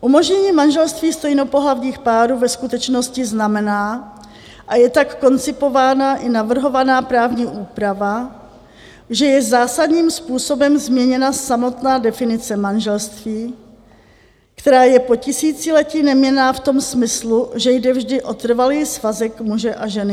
Umožnění manželství stejnopohlavních párů ve skutečnosti znamená, a je tak koncipována i navrhovaná právní úprava, že je zásadním způsobem změněna samotná definice manželství, která je po tisíciletí neměnná v tom smyslu, že jde vždy o trvalý svazek muže a ženy.